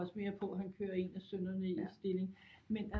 Også mere på at han kører en af sønnerne i stilling men